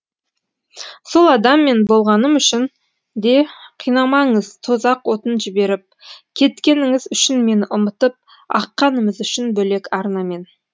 сол адам мен болмағаным үшін де қинамаңыз тозақ отын жіберіп кеткеніңіз үшін мені ұмытып аққанымыз үшін бөлек арнамен